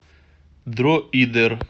дроидер